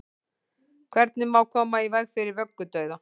hvernig má koma í veg fyrir vöggudauða